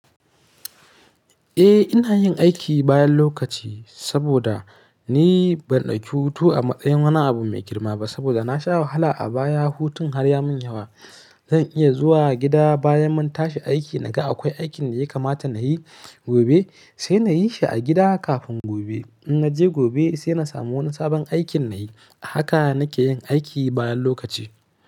Eh ina yin aiki bayan lokaci saboda ni ban ɗauki hutu a matsayin wani abu mai girma ba saboda na sha wahala a baya hutun har ya mun yawa. Zan iya zuwa gida bayan mun tashi aiki naga akwai aikin da ya kamata na yi gobe sai na yi shi a gida kafin gobe. In naje gobe sai na samu wani sabon aikin na yi. Haka nake yin aiki bayan lokaci.